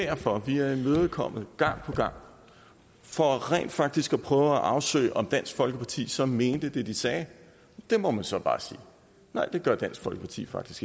derfor vi har været imødekommende gang på gang for rent faktisk at prøve at afsøge om dansk folkeparti så mente det de sagde der må man så bare sige nej det gør dansk folkeparti faktisk